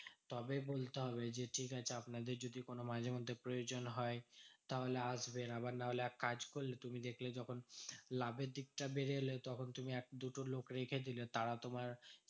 তবে বলতে হবে যে ঠিকআছে আপনাদের যদি কোনো মাঝেমধ্যে প্রয়োজন হয়, তাহলে আসবেন। আবার নাহলে এক কাজ করলে তুমি দেখলে যখন লাভের দিকটা বেড়ে এলো তখন তুমি এক দুটো লোক রেখে দিলে তারা তোমার